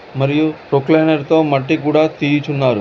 మరియు కొక్లైనర్ తో మట్టి కూడా తీయుచున్నారు.